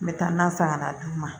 N bɛ taa na san ka na d'u ma